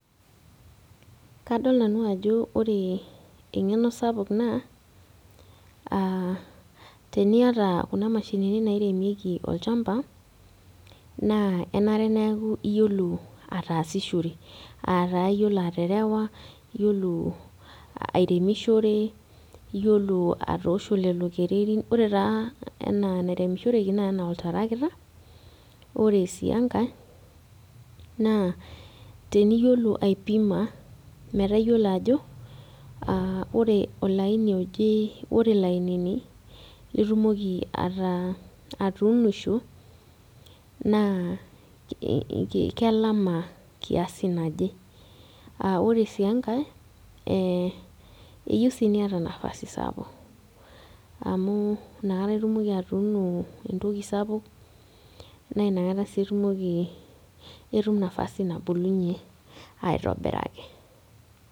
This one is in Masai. Kadol nanu ajo ore eng'eno sapuk naa uh teniata kuna mashinini nairemieki olchamba naa enare neaku iyiolo ataasishore ataa iyiolo aterewa iyiolo airemishore iyiolo atoosho lelo kererin ore taa enaa enairemishoreki naa enaa oltarakita ore sii enkae naa teniyiolo aipima metaa iyiolo ajo aa ore olaini oje ore ilainini litumoki ata atuunisho naa ki kelama kiasi naje aa ore sii enkae eyieu sii niyata nafasi sapuk amu inakata itumoki atuuno entoki sapuk naina kata sii itum nafasi nabulunyie aetobiraki.